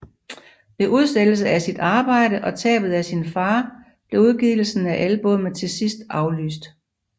Ved udsættelse af sit arbejde og tabet af sin far blev udgivelsen af albummet til sidste aflyst